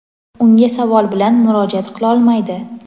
unga savol bilan murojaat qilolmaydi.